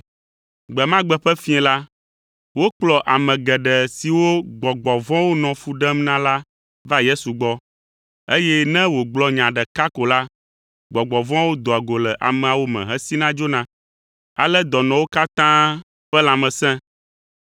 Gbe ma gbe ƒe fiẽ la, wokplɔ ame geɖe siwo gbɔgbɔ vɔ̃wo nɔ fu ɖem na la va Yesu gbɔ, eye ne wògblɔ nya ɖeka ko la, gbɔgbɔ vɔ̃awo doa go le ameawo me hesina dzona. Ale dɔnɔwo katã ƒe lãme sẽ.